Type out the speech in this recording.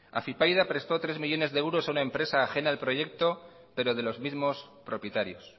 afypaida prestó tres millónes de euros a una empresa ajena al proyecto pero de los mismos propietarios